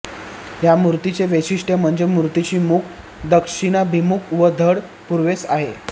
यामूर्तीचे वैशिष्टय़ म्हणजे मूर्तीचे मुख दक्षिणाभिमुख व धड पुर्वेस आहे